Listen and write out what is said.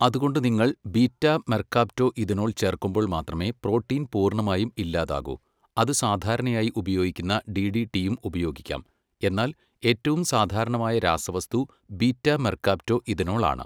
അതുകൊണ്ട് നിങ്ങൾ beta mercaptoethanol ചേർക്കുമ്പോൾ മാത്രമേ പ്രോട്ടീൻ പൂർണ്ണമായും ഇല്ലാതാകൂ അത് സാധാരണയായി ഉപയോഗിക്കുന്ന ഡിടിടിയും ഉപയോഗിക്കാം എന്നാൽ ഏറ്റവും സാധാരണമായ രാസവസ്തു ബീറ്റാ മെർകാപ്റ്റോ ഇഥനോൾ ആണ്.